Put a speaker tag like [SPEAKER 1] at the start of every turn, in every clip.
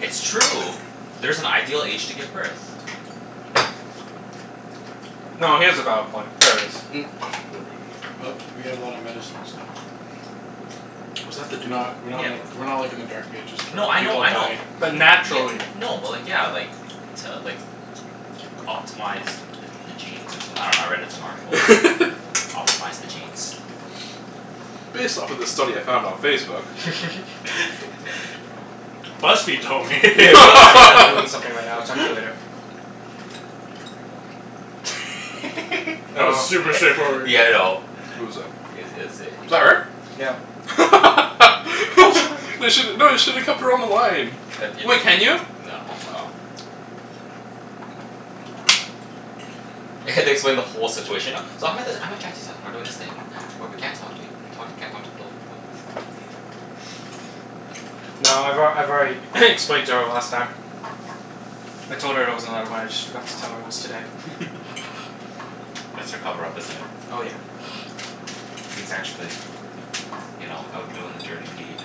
[SPEAKER 1] It's true. There's an ideal age to give birth.
[SPEAKER 2] No, he has a valid point. There is.
[SPEAKER 3] Mm,
[SPEAKER 4] But we
[SPEAKER 3] never
[SPEAKER 4] have a lot of
[SPEAKER 3] mind.
[SPEAKER 4] medicine and stuff.
[SPEAKER 3] What does that
[SPEAKER 4] We're
[SPEAKER 3] have to do with
[SPEAKER 4] not we're not
[SPEAKER 1] Yeah,
[SPEAKER 4] like
[SPEAKER 1] w-
[SPEAKER 4] we're not like in the dark ages
[SPEAKER 1] No,
[SPEAKER 4] where
[SPEAKER 1] I know,
[SPEAKER 4] people
[SPEAKER 1] I know.
[SPEAKER 4] die.
[SPEAKER 2] But
[SPEAKER 1] Ye-
[SPEAKER 2] naturally.
[SPEAKER 1] n- no, but like, yeah, like to like optimize the the genes or someth- I dunno, I read it in some article.
[SPEAKER 3] it?
[SPEAKER 1] Optimize the genes.
[SPEAKER 3] Based off of this study I found on Facebook.
[SPEAKER 4] BuzzFeed told me.
[SPEAKER 2] Hey babe.
[SPEAKER 1] BuzzFeed
[SPEAKER 2] I'm
[SPEAKER 1] told
[SPEAKER 2] I'm doing
[SPEAKER 1] me.
[SPEAKER 2] something right now. I'll talk to you later.
[SPEAKER 4] That was
[SPEAKER 2] Oh.
[SPEAKER 4] super straightforward.
[SPEAKER 1] Yeah, I know.
[SPEAKER 3] Who was that?
[SPEAKER 1] I- it is
[SPEAKER 3] Was
[SPEAKER 1] i-
[SPEAKER 3] that her?
[SPEAKER 2] Yeah.
[SPEAKER 3] You should, no, you should've kept her on the line.
[SPEAKER 1] No.
[SPEAKER 3] Oh.
[SPEAKER 1] I have to explain the whole situation now. So I'm at this, I'm at Chancey's hou- and we're doing this thing where we can't talk to ea- we talk, we can't talk to people from phones.
[SPEAKER 2] No, I've al- I've already explained to her last time. I told her there was another one, I just forgot to tell her it was today.
[SPEAKER 1] That's your cover up, isn't it?
[SPEAKER 2] Oh yeah.
[SPEAKER 1] He's actually you know, out doing the dirty deed.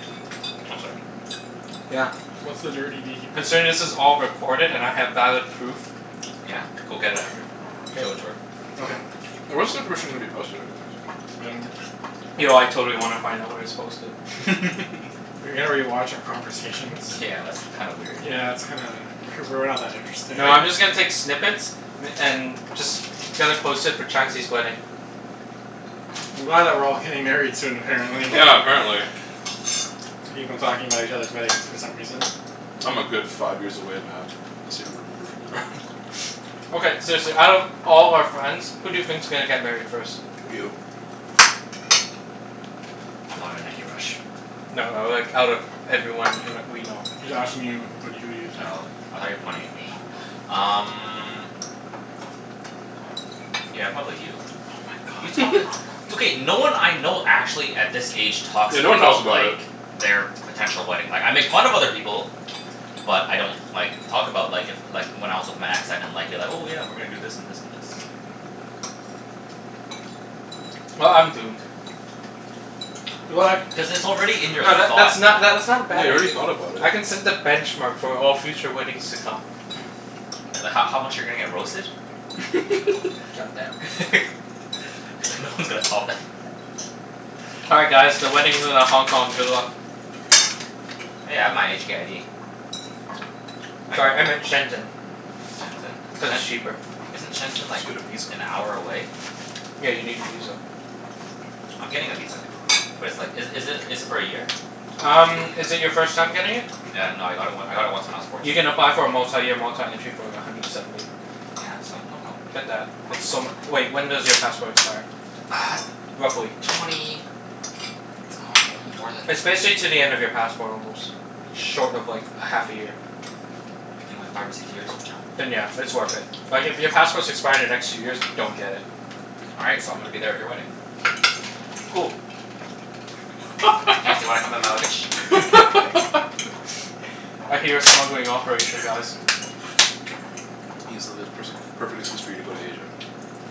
[SPEAKER 1] Oh, sorry.
[SPEAKER 2] Yeah.
[SPEAKER 4] What's the dirty deed?
[SPEAKER 2] Considering this is all recorded and I have valid proof.
[SPEAKER 1] Yeah? Go get it after.
[SPEAKER 2] K.
[SPEAKER 1] Show it to her.
[SPEAKER 2] Okay.
[SPEAKER 3] Where's the information gonna be posted, anyways?
[SPEAKER 4] I dunno.
[SPEAKER 2] Yo, I totally wanna find out where it's posted.
[SPEAKER 4] rewatch our conversation?
[SPEAKER 1] Yeah, that's kind of weird, dude.
[SPEAKER 4] Yeah, that's kinda W- we're not that interesting.
[SPEAKER 2] No, I'm
[SPEAKER 1] They
[SPEAKER 2] just gonna take snippets m- and just gonna post it for Chancey's wedding.
[SPEAKER 4] I'm glad that we're all getting married soon, apparently.
[SPEAKER 3] Yeah, apparently.
[SPEAKER 4] We keep on talking about each other's weddings for some reason.
[SPEAKER 3] I'm a good five years away, Mat.
[SPEAKER 2] Okay, seriously, out of all our friends, who do you think's gonna get married first?
[SPEAKER 3] You.
[SPEAKER 1] I'm not in any rush.
[SPEAKER 2] No, like, out of everyone in we know.
[SPEAKER 4] He's asking you who wh- who do you think?
[SPEAKER 1] Oh, I thought you were pointing at me. Um Yeah, probably you.
[SPEAKER 2] Oh my god.
[SPEAKER 1] It's okay. No one I know actually, at this age, talks
[SPEAKER 3] Yeah, no one talks
[SPEAKER 1] about
[SPEAKER 3] about
[SPEAKER 1] like
[SPEAKER 3] it.
[SPEAKER 1] their potential wedding. Like, I make fun of other people. But I don't like, talk about like, if like, when I was with my ex, I didn't like, be like, "Oh yeah, we're gonna do this and this and this."
[SPEAKER 2] Well, I'm doomed.
[SPEAKER 4] What?
[SPEAKER 1] Cuz it's already in your
[SPEAKER 2] No, tha-
[SPEAKER 1] thought,
[SPEAKER 2] that's
[SPEAKER 1] man.
[SPEAKER 2] not that's not a
[SPEAKER 3] Yeah,
[SPEAKER 2] bad
[SPEAKER 3] you already
[SPEAKER 2] idea.
[SPEAKER 3] thought about it.
[SPEAKER 2] I can set the benchmark for all future weddings to come.
[SPEAKER 1] Th- h- how much you're gonna get roasted?
[SPEAKER 2] God damn.
[SPEAKER 1] He's like, "No one's gonna top that."
[SPEAKER 2] All right, guys, the wedding's in a Hong Kong. Good luck.
[SPEAKER 1] Hey, I have my HK ID. I can
[SPEAKER 2] Sorry, I
[SPEAKER 1] go.
[SPEAKER 2] meant Shenzhen,
[SPEAKER 1] Shenzhen?
[SPEAKER 2] cuz
[SPEAKER 1] Shen-
[SPEAKER 2] it's cheaper.
[SPEAKER 1] Isn't Shenzhen
[SPEAKER 3] Just
[SPEAKER 1] like,
[SPEAKER 3] get a visa.
[SPEAKER 1] an hour away?
[SPEAKER 2] Yeah, you need a visa.
[SPEAKER 1] I'm getting a visa. But it's like, is is it is it for a year?
[SPEAKER 2] Um, is it your first time getting it?
[SPEAKER 1] Yeah, no, I got it w- I got it once when I was
[SPEAKER 2] You
[SPEAKER 1] fourteen.
[SPEAKER 2] can apply for a multi-year, multi-entry for like, a hundred seventy.
[SPEAKER 1] Yeah, so no problem.
[SPEAKER 2] Get that. It's so mu- wait, when does your passport expire?
[SPEAKER 1] Uh
[SPEAKER 2] Roughly?
[SPEAKER 1] twenty, I dunno, more than
[SPEAKER 2] It's basically to the end of your passport almost. Short of like, a half a year.
[SPEAKER 1] Maybe like five or six years from now?
[SPEAKER 2] Then yeah, it's worth it. Like, if your passports expire the next two years, don't get it.
[SPEAKER 1] All right, so I'm gonna be there at your wedding.
[SPEAKER 2] Cool.
[SPEAKER 1] Chancey, wanna come in my luggage?
[SPEAKER 2] I hear a smuggling operation, guys.
[SPEAKER 3] Ibs, it'll be the pers- the perfect excuse for you to go to Asia.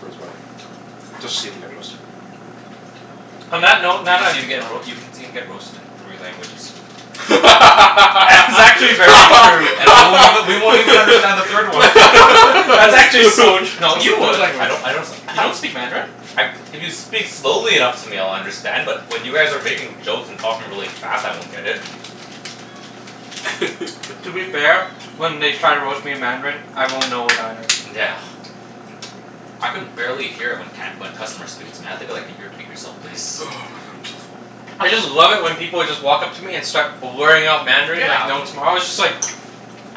[SPEAKER 3] For his wedding. Just to see him get roasted.
[SPEAKER 2] On
[SPEAKER 1] Y-
[SPEAKER 2] that note
[SPEAKER 1] you can see him get roa- you can see him get roasted in three languages.
[SPEAKER 2] That's actually very true.
[SPEAKER 1] And we won't even, we won't even understand the third one.
[SPEAKER 2] That's actually so tr- no, you
[SPEAKER 4] What
[SPEAKER 2] would.
[SPEAKER 1] I don't
[SPEAKER 4] language?
[SPEAKER 1] I don't s-
[SPEAKER 2] You don't speak Mandarin?
[SPEAKER 1] I, if you speak slowly enough to me I'll understand, but when you guys are making jokes and talking really fast, I won't get it.
[SPEAKER 2] To be fair, when they try to roast me in Mandarin, I won't know it either.
[SPEAKER 1] Yeah. I can barely hear it when can- when customers speak it. I have to be like, "Can you repeat yourself, please?"
[SPEAKER 3] Oh my god, I'm so full.
[SPEAKER 2] I just love it when people just walk up to me and start blurring out Mandarin
[SPEAKER 1] Yeah,
[SPEAKER 2] like no
[SPEAKER 1] m-
[SPEAKER 2] tomorrow. It's just like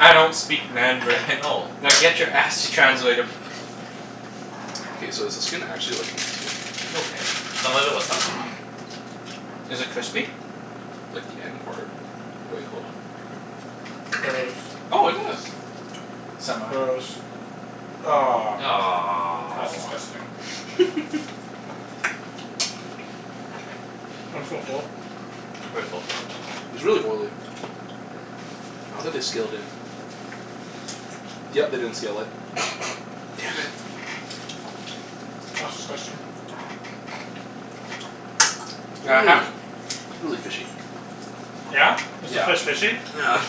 [SPEAKER 2] I don't speak
[SPEAKER 1] Yeah,
[SPEAKER 2] Mandarin.
[SPEAKER 1] I know.
[SPEAKER 2] Now get your ass to translator.
[SPEAKER 3] K, so is the skin actually like nasty?
[SPEAKER 1] It's okay. Some of it was stuck on mine.
[SPEAKER 2] Is it crispy?
[SPEAKER 3] Like the end part. Wait, hold on.
[SPEAKER 4] Gross.
[SPEAKER 2] Oh, it is. Semi.
[SPEAKER 4] Gross. Ah. That's
[SPEAKER 1] Aw.
[SPEAKER 4] disgusting. I'm so full.
[SPEAKER 1] Mm, I'm pretty full too.
[SPEAKER 3] It's really oily. I don't think they scaled it. Yep, they didn't scale it. Damn it.
[SPEAKER 4] That's disgusting.
[SPEAKER 2] Yeah, half
[SPEAKER 3] Mmm. It's really fishy.
[SPEAKER 4] Yeah? Is the
[SPEAKER 3] Yeah.
[SPEAKER 4] fish fishy?
[SPEAKER 3] Yeah.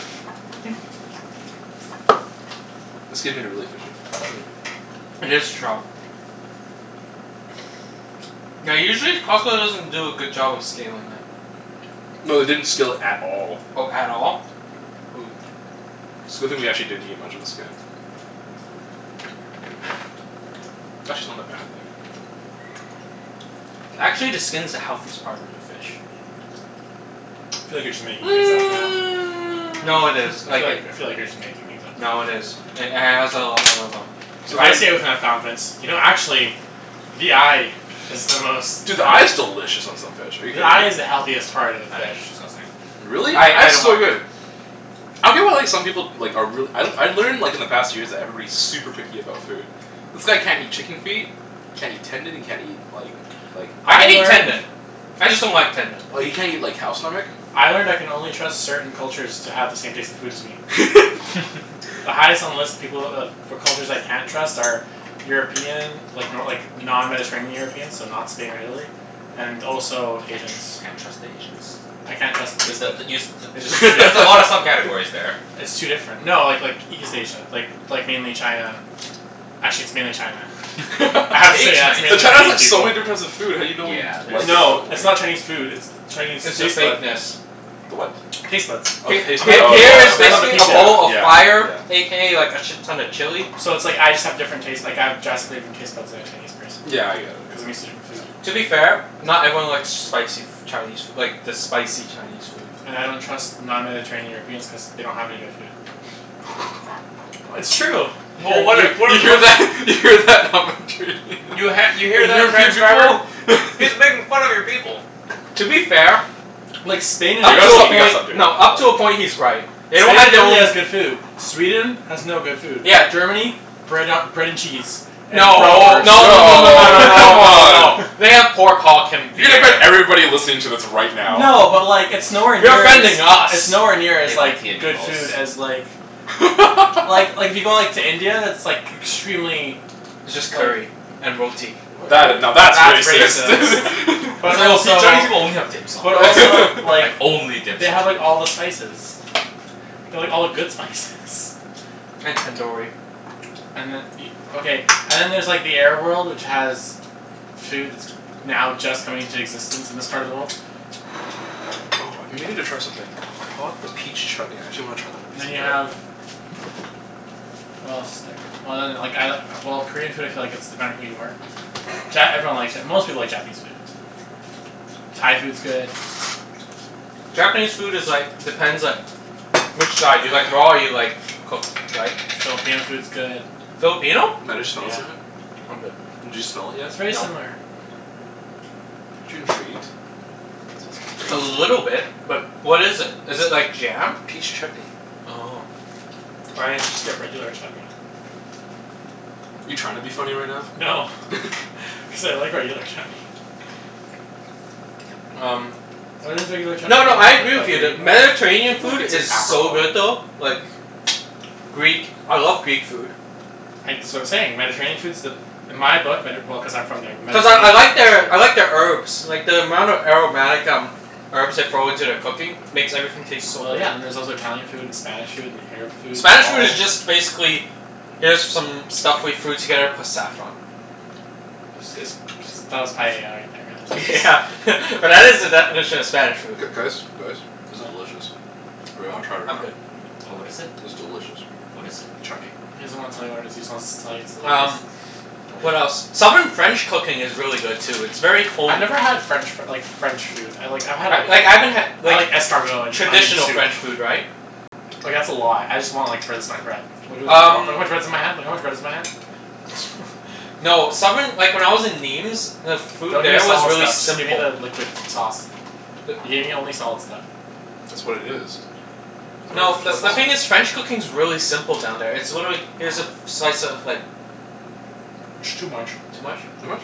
[SPEAKER 3] The skin made it really fishy. Mm.
[SPEAKER 2] It is trout. Yeah, usually Costco doesn't do a good job of scaling it.
[SPEAKER 3] No, they didn't scale it at all.
[SPEAKER 2] Oh, at all? Ooh.
[SPEAKER 3] It's a good thing we didn't actually eat much of the skin. Actually not a bad thing.
[SPEAKER 2] Actually, the skin's the healthiest part of the fish.
[SPEAKER 4] I feel like you're just making things up now.
[SPEAKER 2] No, it is.
[SPEAKER 4] I feel
[SPEAKER 2] Like it
[SPEAKER 4] like, I feel like you're just making things up now.
[SPEAKER 2] No, it is. It h- has a a lot of um
[SPEAKER 3] So
[SPEAKER 4] If I
[SPEAKER 3] then
[SPEAKER 4] say it with enough confidence. You know actually the eye is the most
[SPEAKER 3] Dude, the eye is delicious on some fish. Are you
[SPEAKER 4] The
[SPEAKER 3] kidding
[SPEAKER 4] eye
[SPEAKER 3] me?
[SPEAKER 4] is the healthiest part of the
[SPEAKER 1] I think
[SPEAKER 4] fish.
[SPEAKER 1] it's disgusting.
[SPEAKER 3] Really?
[SPEAKER 2] I
[SPEAKER 3] Eye
[SPEAKER 2] I
[SPEAKER 3] is
[SPEAKER 2] don't
[SPEAKER 3] so
[SPEAKER 2] like
[SPEAKER 1] Mm.
[SPEAKER 2] it.
[SPEAKER 3] good. I feel well like some people like are reall- I I learned like in the past years that everybody's super picky about food. This guy can't eat chicken feet can't eat tendon, he can't eat like like
[SPEAKER 2] I
[SPEAKER 4] I
[SPEAKER 2] can eat
[SPEAKER 4] learned
[SPEAKER 2] tendon. I just don't like tendon.
[SPEAKER 3] Or you can't eat like cow stomach.
[SPEAKER 4] I learned I can only trust certain cultures to have the same taste in food as me. The highest on the list of people of for cultures I can't trust are European like, no like, non-mediterranean Europeans. So not Spain or Italy. And also
[SPEAKER 1] Can't
[SPEAKER 4] Asians.
[SPEAKER 1] tr- can't trust Asians.
[SPEAKER 4] I can't trust
[SPEAKER 1] B-
[SPEAKER 4] their taste
[SPEAKER 1] but the
[SPEAKER 4] bud.
[SPEAKER 1] you s- t-
[SPEAKER 4] I just
[SPEAKER 1] there's a lot of sub-categories there.
[SPEAKER 4] It's too different. No, like like, East Asia. Like, like mainly China. Actually, it's mainly China.
[SPEAKER 1] Hate
[SPEAKER 4] Actually, yeah. It's
[SPEAKER 3] But
[SPEAKER 4] mainly
[SPEAKER 3] China's
[SPEAKER 4] Chinese
[SPEAKER 1] Chinese food.
[SPEAKER 3] like, so
[SPEAKER 4] people.
[SPEAKER 3] many difference of food how do you know what you
[SPEAKER 1] Yeah,
[SPEAKER 3] like
[SPEAKER 1] there's
[SPEAKER 3] and don't
[SPEAKER 4] No, it's
[SPEAKER 3] like?
[SPEAKER 4] not Chinese food, it's the Chinese
[SPEAKER 2] It's the
[SPEAKER 4] taste bud.
[SPEAKER 2] fakeness.
[SPEAKER 3] The what?
[SPEAKER 4] Taste buds.
[SPEAKER 3] Oh, the
[SPEAKER 2] H-
[SPEAKER 4] Of
[SPEAKER 3] taste bud.
[SPEAKER 2] h-
[SPEAKER 4] all
[SPEAKER 3] Oh
[SPEAKER 4] people.
[SPEAKER 2] here
[SPEAKER 3] yeah,
[SPEAKER 2] is
[SPEAKER 4] Of all
[SPEAKER 3] yeah,
[SPEAKER 4] the
[SPEAKER 2] basically a
[SPEAKER 4] people.
[SPEAKER 2] bowl
[SPEAKER 3] yeah,
[SPEAKER 2] of fire
[SPEAKER 3] yeah.
[SPEAKER 2] a k a like a shit ton of chili.
[SPEAKER 4] So it's like, I just have different taste, like, I have drastically different taste buds than a Chinese person.
[SPEAKER 3] Yeah, I get it.
[SPEAKER 4] Cuz I'm used to different
[SPEAKER 3] Yeah,
[SPEAKER 4] food.
[SPEAKER 3] yeah.
[SPEAKER 2] To be fair, not everyone likes spicy f- Chinese like, the spicy Chinese food.
[SPEAKER 4] And I don't trust non-mediterranean Europeans cuz they don't have any good food. W- it's true!
[SPEAKER 1] Well, what
[SPEAKER 3] You
[SPEAKER 1] if we're
[SPEAKER 3] you
[SPEAKER 1] the
[SPEAKER 3] hear
[SPEAKER 1] pers-
[SPEAKER 3] that? You hear that?
[SPEAKER 1] You ha- you hear that, transcriber? He's making fun of your people.
[SPEAKER 2] To be fair
[SPEAKER 4] Like,
[SPEAKER 3] We
[SPEAKER 4] Spain and
[SPEAKER 2] up
[SPEAKER 3] gotta
[SPEAKER 2] to a
[SPEAKER 4] Italy
[SPEAKER 3] stop, we gotta
[SPEAKER 2] point,
[SPEAKER 3] stop doing that,
[SPEAKER 2] no, up to a
[SPEAKER 3] right?
[SPEAKER 2] point he's right. They don't
[SPEAKER 4] Only
[SPEAKER 2] have their
[SPEAKER 4] Italy
[SPEAKER 2] own
[SPEAKER 4] has good food. Sweden has no good food.
[SPEAKER 2] Yeah.
[SPEAKER 4] Germany? Bread a- bread and cheese. And
[SPEAKER 2] No. No no no no
[SPEAKER 3] No,
[SPEAKER 2] no no
[SPEAKER 3] come
[SPEAKER 2] no no.
[SPEAKER 3] on.
[SPEAKER 2] They have pork hulk and
[SPEAKER 3] You gonna offend
[SPEAKER 2] beer.
[SPEAKER 3] everybody listening to this right now.
[SPEAKER 4] No, but like, it's nowhere
[SPEAKER 2] You're
[SPEAKER 4] near as
[SPEAKER 2] offending
[SPEAKER 4] it's
[SPEAKER 2] us.
[SPEAKER 4] nowhere near
[SPEAKER 1] They
[SPEAKER 4] as like,
[SPEAKER 1] like
[SPEAKER 4] good food as like Well, like, if you go like, to India, that's like extremely
[SPEAKER 2] It's just curry.
[SPEAKER 4] like
[SPEAKER 2] And roti.
[SPEAKER 4] W-
[SPEAKER 3] That i- now,
[SPEAKER 4] w-
[SPEAKER 3] that's
[SPEAKER 4] that's
[SPEAKER 3] racist.
[SPEAKER 4] racist. But
[SPEAKER 1] That's like, "Oh see,
[SPEAKER 4] also
[SPEAKER 1] Chinese people only have dim sum."
[SPEAKER 4] But also
[SPEAKER 1] Like,
[SPEAKER 4] like
[SPEAKER 1] only dim
[SPEAKER 4] they have
[SPEAKER 1] sum.
[SPEAKER 4] like all the spices. They have all the good spices.
[SPEAKER 2] And tandoori.
[SPEAKER 4] And then e- Okay, and then there's like, the Arab world, which has food that's now just coming into existence in this part of the world.
[SPEAKER 3] Oh, I've been meaning to try something. I bought the peach chutney. I actually wanna try it on a
[SPEAKER 4] And
[SPEAKER 3] piece
[SPEAKER 4] then
[SPEAKER 3] of
[SPEAKER 4] you
[SPEAKER 3] bread.
[SPEAKER 4] have what else is there? Well then, like I, well, Korean food I feel like it's dependent who you are. Ja- everyone likes Ja- most people like Japanese food. Thai food's good.
[SPEAKER 2] Japanese food is like, depends like which side. Do you like raw or you like cooked, right?
[SPEAKER 4] Filipino food's good.
[SPEAKER 2] Filipino?
[SPEAKER 4] Yeah.
[SPEAKER 2] I'm good.
[SPEAKER 3] Did you smell it yet?
[SPEAKER 4] It's very
[SPEAKER 2] No.
[SPEAKER 4] similar.
[SPEAKER 3] Aren't you intrigued?
[SPEAKER 2] A
[SPEAKER 3] Smells great.
[SPEAKER 2] little bit. But what is it? Is it
[SPEAKER 3] It's
[SPEAKER 2] like jam?
[SPEAKER 3] Peach chutney.
[SPEAKER 2] Oh.
[SPEAKER 4] Why didn't you just get regular chutney?
[SPEAKER 3] You trying to be funny right now?
[SPEAKER 4] No. Cuz I like regular chutney.
[SPEAKER 2] Um
[SPEAKER 4] Why does regular chutney
[SPEAKER 2] No, no, I agree with you that
[SPEAKER 3] I
[SPEAKER 2] Mediterranean
[SPEAKER 3] think like
[SPEAKER 2] food
[SPEAKER 3] it's an
[SPEAKER 2] is so good
[SPEAKER 3] apricot.
[SPEAKER 2] though. Like Greek, I love Greek food.
[SPEAKER 4] I, that's what I'm saying. Mediterranean food's the In my book, Medi- well, cuz I'm from there.
[SPEAKER 2] Cuz I I like their I like their herbs. Like the amount of aromatic um herbs they throw into their cooking makes everything taste so
[SPEAKER 4] Well,
[SPEAKER 2] good.
[SPEAKER 4] yeah. And then there's also Italian food, and Spanish food, and Arab food.
[SPEAKER 2] Spanish food is just basically here's some stuff we threw together plus saffron.
[SPEAKER 4] Is this ps- that was paella right there,
[SPEAKER 2] Yeah
[SPEAKER 4] yeah
[SPEAKER 2] but that is the definition of Spanish food.
[SPEAKER 3] G- guys? Guys? This is
[SPEAKER 4] What?
[SPEAKER 3] delicious. Anyone
[SPEAKER 2] I'm
[SPEAKER 3] wanna try it
[SPEAKER 2] I'm
[SPEAKER 3] right now?
[SPEAKER 2] good.
[SPEAKER 1] Oh, what is it?
[SPEAKER 3] It's delicious.
[SPEAKER 1] What is it?
[SPEAKER 3] Chutney.
[SPEAKER 4] He doesn't wanna tell you what it is. He just wants to tell you it's delicious.
[SPEAKER 2] Um What
[SPEAKER 3] Want some?
[SPEAKER 2] else? Southern French cooking is really good too. It's very
[SPEAKER 4] I've
[SPEAKER 2] homey.
[SPEAKER 4] never had French f- like, French food. I like, I've had a
[SPEAKER 2] Like, I haven't had
[SPEAKER 4] I
[SPEAKER 2] like
[SPEAKER 4] like escargot, and
[SPEAKER 2] traditional
[SPEAKER 4] onion soup.
[SPEAKER 2] French food, right?
[SPEAKER 4] Like, that's a lot. I just want like, finish my bread. Look how
[SPEAKER 2] Um
[SPEAKER 4] much bread is in my hand. Look at how much bread's in my hand.
[SPEAKER 2] no, southern like, when I was in Nîmes the food
[SPEAKER 4] Don't give me
[SPEAKER 2] there was
[SPEAKER 4] solid
[SPEAKER 2] really
[SPEAKER 4] stuff. Just give me
[SPEAKER 2] simple.
[SPEAKER 4] the liquid sauce. You
[SPEAKER 2] The
[SPEAKER 4] gave me only solid stuff.
[SPEAKER 3] That's what it is.
[SPEAKER 2] No,
[SPEAKER 4] the
[SPEAKER 2] the the thing is
[SPEAKER 4] sauce.
[SPEAKER 2] French cooking's really simple down there. It's literally, here's a f- slice of like
[SPEAKER 4] It's too much.
[SPEAKER 2] Too much?
[SPEAKER 3] Too much?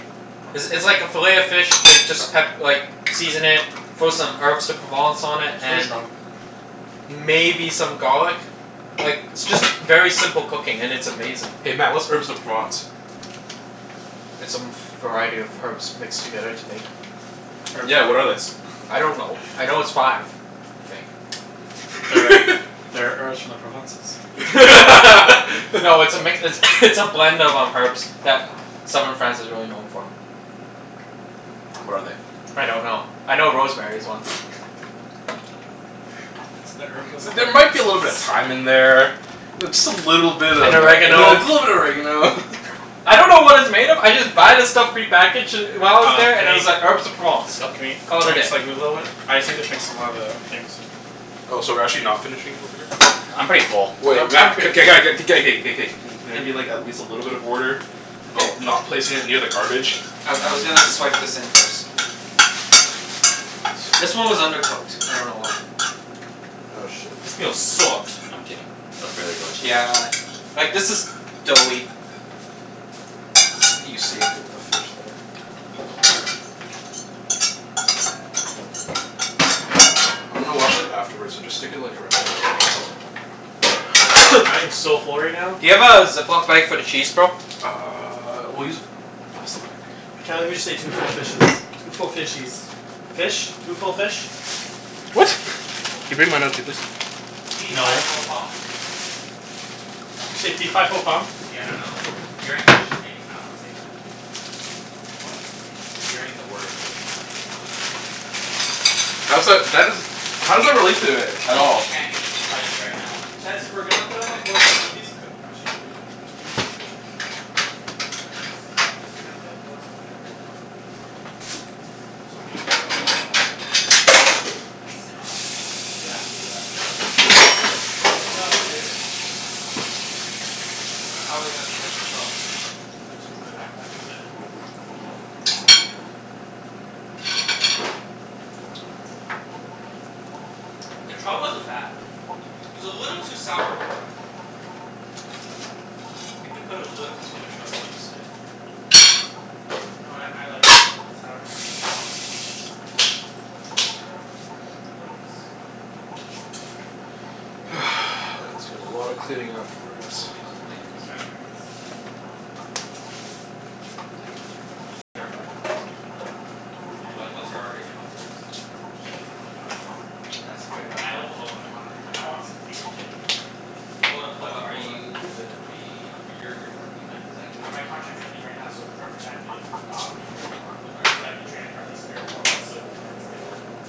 [SPEAKER 2] It's it's like a fillet of fish they just pep- like season it, throw some Herbes de Provence on it,
[SPEAKER 4] Too
[SPEAKER 2] and
[SPEAKER 4] strong.
[SPEAKER 2] maybe some garlic. Like, it's just very simple cooking, and it's amazing.
[SPEAKER 3] Hey Mat, what's Herbes de Provence?
[SPEAKER 2] It's a m- variety of herbs mixed together to make
[SPEAKER 4] Herbes de
[SPEAKER 3] Yeah, what are they?
[SPEAKER 4] Provence.
[SPEAKER 2] I don't know. I know it's five. I think.
[SPEAKER 4] That are that are herbs from the Provences.
[SPEAKER 2] No, it's a mix, it's it's a blend of um, herbs that southern France is really known for.
[SPEAKER 3] What are they?
[SPEAKER 2] I don't know. I know rosemary's one.
[SPEAKER 4] It's the herbs of the
[SPEAKER 3] There might be a little bit of
[SPEAKER 4] Provences.
[SPEAKER 3] thyme in there. Th- just a little bit of a
[SPEAKER 2] And
[SPEAKER 3] little bit
[SPEAKER 2] oregano.
[SPEAKER 3] of oregano.
[SPEAKER 2] I don't know what it's made of. I just buy the stuff prepackaged d- while I was
[SPEAKER 4] Um,
[SPEAKER 2] there,
[SPEAKER 4] can
[SPEAKER 2] and it was like,
[SPEAKER 4] we
[SPEAKER 2] Herbes de Provence.
[SPEAKER 1] It's
[SPEAKER 4] can
[SPEAKER 1] not Cana-
[SPEAKER 4] we,
[SPEAKER 2] Call
[SPEAKER 4] can
[SPEAKER 2] it a
[SPEAKER 4] we
[SPEAKER 2] day.
[SPEAKER 4] just like, move a little bit? I just need to fix one of the things.
[SPEAKER 3] Oh, so we're actually not finishing over here?
[SPEAKER 1] I'm pretty full.
[SPEAKER 2] Um,
[SPEAKER 3] Wait
[SPEAKER 2] I'm
[SPEAKER 3] Mat,
[SPEAKER 2] pretty
[SPEAKER 3] k- g- g- k- g- g- k- k- k- k. Can there be like, at least a little bit of order? About not placing it near the garbage?
[SPEAKER 2] I I was gonna swipe this in first.
[SPEAKER 3] I see
[SPEAKER 2] This one was undercooked. I don't know why.
[SPEAKER 3] Oh shit.
[SPEAKER 1] This meal sucked. I'm kidding. It was really delicious,
[SPEAKER 2] Yeah
[SPEAKER 1] actually.
[SPEAKER 2] a Like this is doughy.
[SPEAKER 3] You saved it with the fish there. I'm gonna wash it afterwards, so just stick it like around.
[SPEAKER 4] I am so full right now.
[SPEAKER 2] Do you have a Ziploc bag for the cheese, bro?
[SPEAKER 3] Uh, we'll use a plastic bag.
[SPEAKER 4] Can't believe we just ate two full fishes. Two full fishies. Fish? Two full fish?
[SPEAKER 1] Yeah, I
[SPEAKER 3] What?
[SPEAKER 1] think it's just two full
[SPEAKER 3] Can you bring
[SPEAKER 1] fish.
[SPEAKER 3] mine out too, please?
[SPEAKER 1] Fee fi
[SPEAKER 4] No.
[SPEAKER 1] fo fum.
[SPEAKER 4] Did you say fee fi fo fum?
[SPEAKER 1] Yeah, I dunno. Hearing fish just kinda made me wanna say that.
[SPEAKER 4] What?
[SPEAKER 1] Hearing the word fish kinda made me wanna say that. I dunno why.
[SPEAKER 3] How's that, that isn't How does that relate to it at
[SPEAKER 1] Fight me,
[SPEAKER 3] all?
[SPEAKER 1] Chancey. Fight me right now.
[SPEAKER 4] Chancey, if we're gonna put it on the floor can we move these cu- or actually, can you c- can you move these cushions?
[SPEAKER 1] Move the
[SPEAKER 4] These
[SPEAKER 1] cushions?
[SPEAKER 4] ones. Cuz if we're gonna put on the floor, someone's gonna get blocked off by those. So can you just put them in the hallway over there?
[SPEAKER 1] Can we sit on them?
[SPEAKER 4] Yeah, we can do that. That makes sense. Ah, good one.
[SPEAKER 2] All right, how are we gonna set this up?
[SPEAKER 4] Uh, my backpack and then we can put it in the middle.
[SPEAKER 2] The trout wasn't bad. It was a little too sour for my liking, though. I think we put a little too much lemon juice in it.
[SPEAKER 4] No, I I like it a little bit sour. I like lemon. Lemon's
[SPEAKER 1] When
[SPEAKER 3] That's
[SPEAKER 1] life gives you
[SPEAKER 3] gonna be
[SPEAKER 1] lemons
[SPEAKER 3] a lot of cleaning
[SPEAKER 2] Red Bull
[SPEAKER 3] afterwards.
[SPEAKER 2] gives you
[SPEAKER 4] I'm
[SPEAKER 2] wings.
[SPEAKER 4] trying to convince convince my mom to let me have a dog.
[SPEAKER 1] L- like
[SPEAKER 4] Cuz it's their apartment.
[SPEAKER 1] Oh.
[SPEAKER 4] And I
[SPEAKER 1] What what's
[SPEAKER 4] can't
[SPEAKER 1] her argument? What's yours?
[SPEAKER 4] She doesn't like animals.
[SPEAKER 2] That's a great
[SPEAKER 1] But
[SPEAKER 4] I
[SPEAKER 1] help
[SPEAKER 2] argument.
[SPEAKER 4] live alone. I want I want something to keep me company.
[SPEAKER 2] Hold up,
[SPEAKER 1] But
[SPEAKER 2] hold up,
[SPEAKER 1] are
[SPEAKER 2] hold up.
[SPEAKER 1] you gonna be W- y- you're working, like it's like you
[SPEAKER 4] Uh,
[SPEAKER 1] work
[SPEAKER 4] my contract's ending right now, so the perfect time to get an dog would be right now.
[SPEAKER 1] But aren't are
[SPEAKER 4] So I
[SPEAKER 1] you
[SPEAKER 4] can train it for at least three or four months so it can learn to stay at home alone.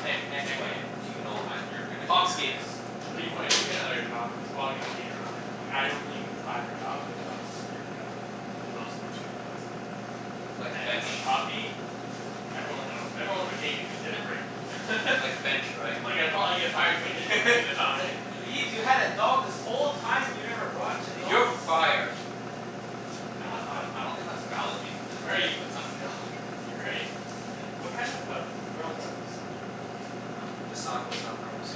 [SPEAKER 2] Hey, hey, hey, hey,
[SPEAKER 1] But
[SPEAKER 2] hey.
[SPEAKER 1] do you know when you're gonna get your
[SPEAKER 2] Pomski.
[SPEAKER 1] next
[SPEAKER 4] But even when I
[SPEAKER 1] job?
[SPEAKER 4] do get another job it's probably gonna be in a, in like, I only apply for jobs where the offices are pretty friendly. And most of them let you have dogs there.
[SPEAKER 2] Like
[SPEAKER 4] And if it's
[SPEAKER 2] bench?
[SPEAKER 4] a puppy? Everyone hill, everyone would hate me if I didn't bring it.
[SPEAKER 2] Like bench, right?
[SPEAKER 4] Well, yeah, probably if I if I didn't bring the
[SPEAKER 1] It's
[SPEAKER 4] dog in.
[SPEAKER 1] like, "Ibs, you had a dog this whole time and you never brought it to the office?"
[SPEAKER 2] "You're fired."
[SPEAKER 4] They
[SPEAKER 1] I don't
[SPEAKER 4] have
[SPEAKER 1] I
[SPEAKER 4] a
[SPEAKER 1] I don't think that's valid reason to
[SPEAKER 4] Right.
[SPEAKER 1] let someone go.
[SPEAKER 4] Right. What kind of a p- pearls are those?
[SPEAKER 3] Sago.
[SPEAKER 4] Huh?
[SPEAKER 2] This sago
[SPEAKER 3] Sago.
[SPEAKER 2] is not pearls.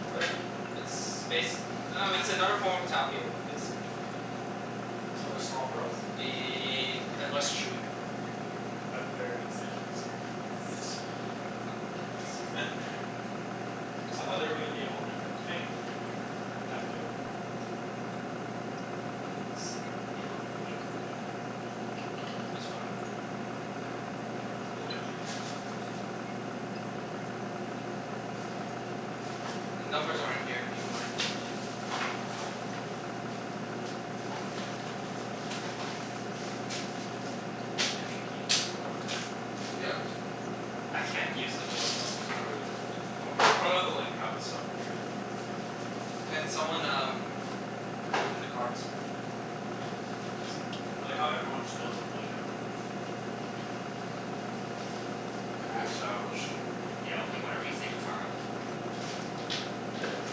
[SPEAKER 4] What are they?
[SPEAKER 2] It's bas- I dunno, it's another form of tapioca
[SPEAKER 3] I
[SPEAKER 2] basically.
[SPEAKER 4] So they're small pearls?
[SPEAKER 2] Ye- and less chewy.
[SPEAKER 4] But they're essentially small
[SPEAKER 2] Yes.
[SPEAKER 4] pearls?
[SPEAKER 2] Fuck, that looks
[SPEAKER 4] I thought they were gonna be a whole different thing, but they're for tapioca.
[SPEAKER 3] should have bought a table.
[SPEAKER 2] It's fine.
[SPEAKER 1] Move it to here so Chancey
[SPEAKER 2] The numbers are in here. Do you mind?
[SPEAKER 1] Yeah. Chancey, can you use the board from there?
[SPEAKER 3] Yeah, I can see it.
[SPEAKER 2] I can't use the board though.
[SPEAKER 3] We can probably like probably, you'll probably have to like have the stuff over here though.
[SPEAKER 1] Okay.
[SPEAKER 2] Can someone um, open the cards? See if it
[SPEAKER 4] I like how everyone just knows I'm blue now.
[SPEAKER 3] Well
[SPEAKER 2] Crap.
[SPEAKER 3] established.
[SPEAKER 1] Yeah, okay, whatever you say Catara.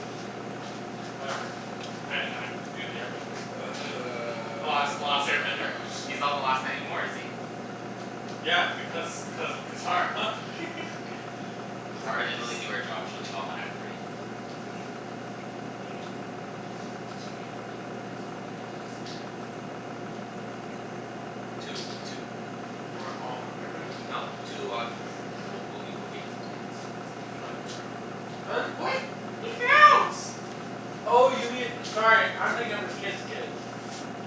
[SPEAKER 3] What does that mean?
[SPEAKER 4] Whatever. I I get to be with the air bender. The last the last air bender.
[SPEAKER 1] He's not the last anymore, is he?
[SPEAKER 4] Yeah, because because of Catara. That's
[SPEAKER 1] Catara
[SPEAKER 4] gross.
[SPEAKER 1] didn't really do her job. She only got one out of three.
[SPEAKER 4] What do you mean?
[SPEAKER 1] Like she gave birth to three kids but only one was an air bender.
[SPEAKER 4] No.
[SPEAKER 2] Two. Two were.
[SPEAKER 4] Weren't all of them air benders?
[SPEAKER 2] No. Two out of the three were.
[SPEAKER 1] Okay, well Boomy Boomy doesn't count. Cuz he got it later on.
[SPEAKER 4] Her, what?
[SPEAKER 2] He counts.
[SPEAKER 4] Oh, you mean, sorry, I'm thinking of his kid's kids.